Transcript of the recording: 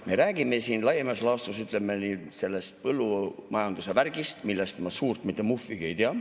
Me räägime siin laias laastus, ütleme, sellest põllumajanduse värgist, millest ma suurt mitte muhvigi ei tea.